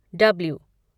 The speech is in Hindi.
डीब्लू